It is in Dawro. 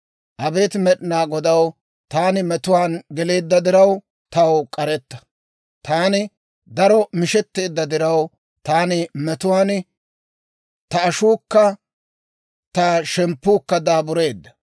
Abeet Med'inaa Godaw, taani metuwaan geleedda diraw, taw k'aretta. Taani daro mishetteedda diraw, taani metuwaan, ta ashuukka, ta shemppuukka daabureedda.